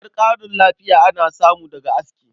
Har ƙarin lafiya ana samu daga aski.